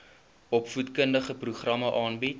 opvoedkundige programme aanbied